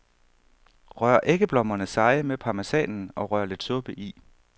Rør æggeblommerne seje med parmesanen og rør lidt suppe i.